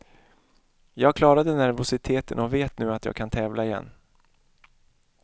Jag klarade nervositeten och vet nu att jag kan tävla igen.